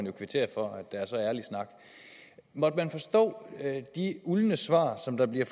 jo kvittere for at der er så ærlig snak måtte man forstå de uldne svar som der bliver